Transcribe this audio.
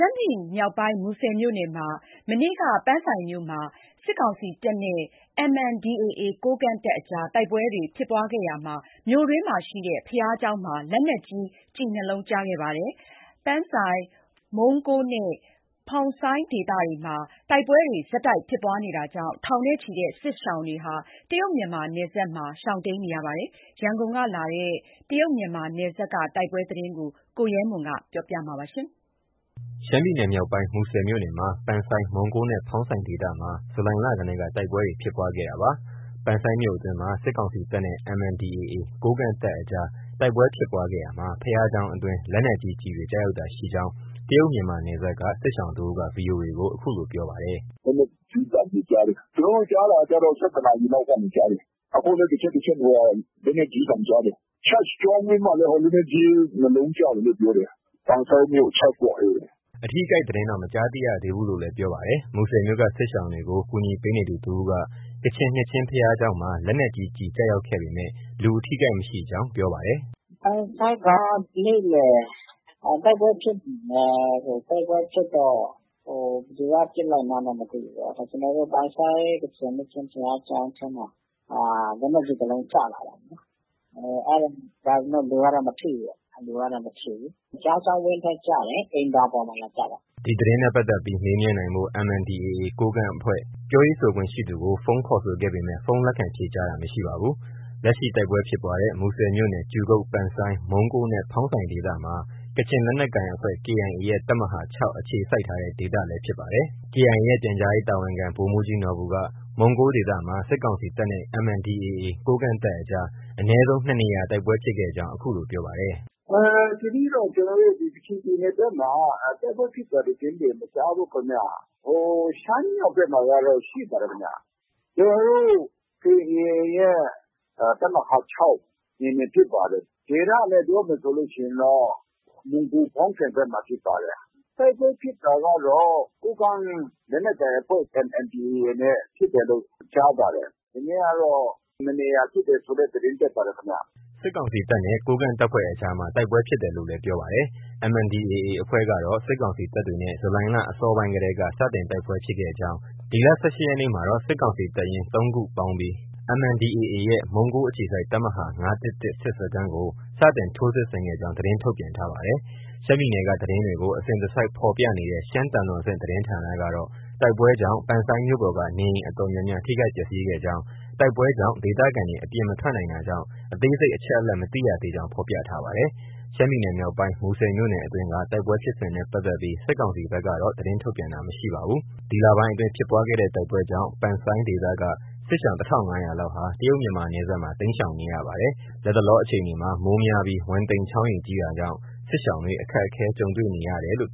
ှမ်းပြည်နယ်မြောက်ပိုင်း မူဆယ်မြို့နယ်မှာ ဒီကနေ့ ပန်ဆိုင်းမြို့မှာ စစ်ကောင်စီတပ်နဲ့ MNDAA ကိုးကန့် တပ်အကြား တိုက်ပွဲဖြစ်ပွားခဲ့ရာမှာ မြို့တွင်းရှိဘုရားကျောင်းမှာ လက်နက်ကြီး ကျည် ၂လုံးကျခဲ့ပါတယ်။ ပန်ဆိုင်း၊ မုံးကိုးနဲ့ ဖောင်းဆိုင်ဒေသမှာ တိုက်ပွဲတွေ ဆက်တိုက်ဖြစ်ပွားနေတာကြောင့် ထောင်နဲ့ချီတဲ့ စစ်ရှောင်တွေဟာ တရုတ် မြန်မာနယ်စပ်မှာ ရှောင်တိမ်းနေရပါတယ်။ ရန်ကုန်ကလာတဲ့ တရုတ်မြန်မာနယ်စပ်က တိုက်ပွဲသတင်းကို ကိုရဲမွန် က ပြောပြပါမယ်။ ရှမ်းပြည်နယ်မြောက်ပိုင်း မူဆယ်မြို့နယ်မှာ ပန်ဆိုင်း၊ မုံးကိုးနဲ့ ဖောင်းဆိုင်ဒေသမှာ ဇူလိုင်လတည်းက တိုက်ပွဲတွေ ဖြစ်ပွားခဲ့တာပါ။ ပန်ဆိုင်းမြို့အတွင်းမှာ စစ်ကောင်စီတပ်နဲ့ MNDAA ကိုးကန့် တပ်အကြား တိုက်ပွဲဖြစ်ပွားခဲ့ရာ ဘုရားကျောင်းအတွင်း လက်နက်ကြီး ကျည်တွေ ကျရောက်တာရှိကြောင်း တရုတ်- မြန်မာ နယ်စပ်က စစ်ရှောင်တစ်ဦးက VOA ကို အခုလို ပြောပါတယ်။ “လက်နက်ကြီးသံတွေ ကြားတယ်။ ကျနော်တို့ ကြားတာကတော့ ၁၁နာရီလောက်ကနေ ကြားတယ်။ အခုလည်း တစ်ချက် တစ်ချက် လက်နက်ကြီးသံကြားတယ်။ Church ကျောင်းဝန်းမှာလည်း လက်နက်ကြီး ၂လုံးကျတယ်လို့ ပြောတယ်။ ပန်ဆိုင်းမြို့ Church ပေါ့။ ” အထိအခိုက်သတင်းတော့ မကြားသိရသေးဘူးလို့လည်း ပြောပါတယ်။ မူဆယ်မြို့က စစ်ရှောင်တွေကို ကူညီပေးနေသူ တစ်ဦးက ကချင်နှစ်ချင်းဘုရားကျောင်းမှာ လက်နက်ကြီးကျည် ကျရောက်ခဲ့ပေမဲ့ လူအထိအခိုက်မရှိကြောင်း ပြောပါတယ်။ “ ပန်ဆိုင်းက နေ့လည် တိုက်ပွဲဖြစ်တယ်။ တိုက်ပွဲဖြစ်တော့ ဘယ်သူက ပစ်လိုက်မှန်းတော့ မသိဘူး။ ပန်ဆိုင်းကချင်နှစ်ခြင်းခရစ်ယာန်ဘုရားကျောင်းထဲမှာ လက်နက်ကြီး တစ်လုံးကျလာတယ်။ ဒါပေမဲ့ လူကတော့ မထိဘူး။ ဘုရားကျောင်းဝန်းထဲကျတယ် အိမ်သာပေါ်မှာ လာကျတာပေါ့။” ဒီသတင်းနဲ့ပတ်သက်ပြီး မေးမြန်းနိုင်ဖို့ MNDAA ကိုးကန့်အဖွဲ့ ပြောရေးဆိုခွင့်ရှိသူကို ဖုန်းခေါ်ဆိုခဲ့ပေမဲ့ ဖုန်း လက်ခံဖြေကြားတာ မရှိပါဘူး။ လက်ရှိ တိုက်ပွဲဖြစ်ပွားတဲ့ မူဆယ်မြို့နယ် ကြူကုတ်၊ ပန်ဆိုင်း၊ မုန်းကိုးနဲ့ ဖောင်းဆိုင်ဒေသမှာ ကချင်လက်နက်ကိုင်အဖွဲ့ KIA ရဲ့ တပ်မဟာ ၆ အခြေစိုက်ထားတဲ့ ဒေသလည်း ဖြစ်ပါတယ်။ KIA ရဲ့ ပြန်ကြားရေးတာဝန်ခံ ဗိုလ်မှုးကြီးနော်ဘူက မုံးကိုးဒေသမှာ စစ်ကောင်စီတပ်နဲ့ MNDAA ကိုးကန့်တပ်အကြား အနည်းဆုံး ၂နေရာ တိုက်ပွဲဖြစ်ခဲ့ကြောင်း အခုလို ပြောပါတယ်။ “ ဒီနေ့တော့ ကချင်ပြည်နယ်ဘက်မှာ တိုက်ပွဲဖြစ်တဲ့သတင်းတွေ မကြားဘူးခင်ဗျ။ ရှမ်းမြောက်ဘက်မှာကတော့ ရှိပါတယ်ခင်ဗျ။ ကျနော်တို့ KIA ရဲ့ တပ်မဟာ ၆နယ်မြေဖြစ်ပါတယ်။ ဒေသနဲ့ ပြောမယ်ဆိုရင်တော့ မုံးကိုး၊ ဖောင်းဆိုင်ဘက်မှာဖြစ်ပါတယ်။ တိုက်ပွဲဖြစ်တာကတော့ ကိုးကန့်လက်နက်ကိုင်အဖွဲ့ MNDAA နဲ့ ဖြစ်တယ်လို့ ကြားပါတယ်။ ဒီနေ့ကတော့ ၂နေရာဖြစ်တယ်ဆိုတဲ့သတင်းတက်ပါတယ်ခင်ဗျ။” စစ်ကောင်စီတပ်နဲ့ ကိုးကန့် တပ်ဖွဲ့အကြားမှာ မနေ့လည်း တိုက်ပွဲဖြစ်တယ်လို့လည်း ပြောပါတယ်။ MNDAA အဖွဲ့ကတော့ စစ်ကောင်စီတပ်တွေနဲ့ ဇူလိုင်လ အစောပိုင်းတည်းက စတင်တိုက်ပွဲဖြစ်ခဲ့ကြောင်း၊ ဒီလ ၁၈ရက်နေ့မှာတော့ စစ်ကောင်စီတပ်ရင်း ၃ရင်းပေါင်းပြီး MNDAAရဲ့ မုံးကိုးအခြေစိုက် တပ်မဟာ ၅၁၁စစ်စခန်းကို စတင်ထိုးစစ်ဆင်ခဲ့ကြောင်း သတင်းထုတ်ပြန်ထားပါတယ်။ ရှမ်းပြည်နယ်က သတင်းတွေကို အစဉ်တစိုက်ဖော်ပြနေတဲ့ ရှမ်းသံတော်ဆင့်သတင်းဌာနကတော့ တိုက်ပွဲကြောင့် ပန်ဆိုင်းမြို့ပေါ်က နေအိမ်အတော်များများ ထိခိုက်ပျက်ဆီးခဲ့ကြောင်း၊ တိုက်ပွဲကြောင့် ဒေသခံတွေ အပြင်မထွက်နိုင်တာကြောင့် အသေးစိတ်အချက်အလက် မသိရသေးကြောင်း ဖော်ပြထားပါတယ်။ ရှမ်းပြည်နယ်မြောက်ပိုင်း မူဆယ်မြို့နယ်အတွင်းက တိုက်ပွဲဖြစ်စဉ်နဲ့ပတ်သက်ပြီ စစ်ကောင်စီဘက်ကတော့ သတင်းထုတ်ပြန်တာ မရှိပါဘူး။ ဒီလပိုင်းအတွင်း ဖြစ်ပွားတဲ့ တိုက်ပွဲကြောင့် ပန်ဆိုင်းဒေသက စစ်ရှောင် ၁၅၀၀လောက်ဟာ တရုတ်မြန်မာနယ်စပ်မှာ တိမ်းရှောင်နေရပါတယ်။ လတ်တလောအခြေအနေမှာ မိုးများပြီး ဝမ်တိန် ချောင်းရေ ကြီးတာကြောင့် စစ်ရှောင်တွေ အခက်အခဲကြုံတွေ့နေရပါတယ်။